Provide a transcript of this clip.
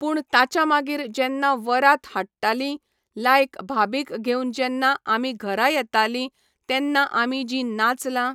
पूण ताच्या मागीर जेन्ना वरात हाडटालीं लायक भाभीक घेवन जेन्ना आमी घरा येतालीं, तेन्ना आमी जीं नाचलां